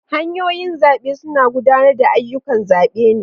Hanyoyin zabe suna gudanar da ayyukan zabe ne.